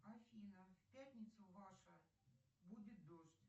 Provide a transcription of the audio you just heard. афина в пятницу ваша будет дождь